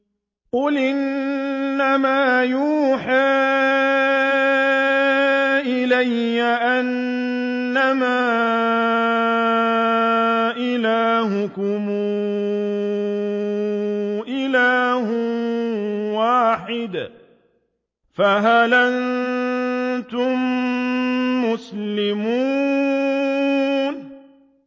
قُلْ إِنَّمَا يُوحَىٰ إِلَيَّ أَنَّمَا إِلَٰهُكُمْ إِلَٰهٌ وَاحِدٌ ۖ فَهَلْ أَنتُم مُّسْلِمُونَ